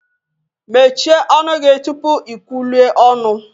Mechie ọnụ gị tupu ikwulue ọnụ!